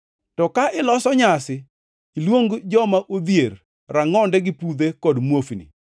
To ka iloso nyasi, iluong joma odhier, rangʼonde gi pudhe kod muofni,